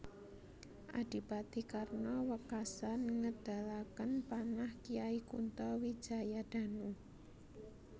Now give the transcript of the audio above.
Adipati Karna wekasan ngedalaken panah Kyai Kunto Wijayadanu